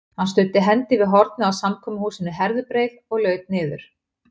Hann studdi hendi við hornið á samkomuhúsinu Herðubreið og laut niður.